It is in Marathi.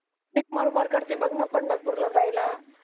मर मर करती बग ना पंढरपूरला जायला